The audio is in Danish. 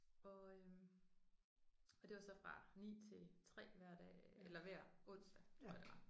Og øh og det var så fra 9 til 3 hver dag eller hver onsdag tror jeg det var